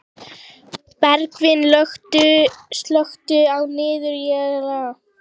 Bergvin, slökktu á niðurteljaranum.